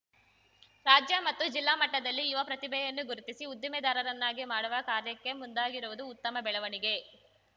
ರಾಜ್ಯ ಮತ್ತು ಜಿಲ್ಲಾ ಮಟ್ಟದಲ್ಲಿ ಯುವ ಪ್ರತಿಭೆಯನ್ನು ಗುರುತಿಸಿ ಉದ್ದಿಮೆದಾರರನ್ನಾಗಿ ಮಾಡುವ ಕಾರ್ಯಕ್ಕೆ ಮುಂದಾಗಿರುವುದು ಉತ್ತಮ ಬೆಳವಣಿಗೆ